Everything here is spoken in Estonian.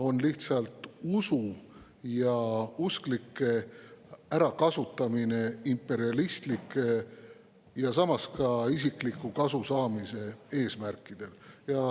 On lihtsalt usu ja usklike ärakasutamine imperialistlikel ja samas ka isikliku kasu saamise eesmärkidel.